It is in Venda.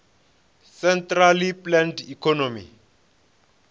centrally planned economy